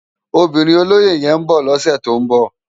Óbirin ólóyé yèn n bò lòsè tó n bò